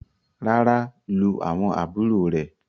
ràrá lu awọn àbúrò rẹ.